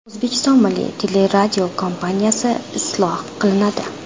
O‘zbekiston Milliy teleradiokompaniyasi isloh qilinadi.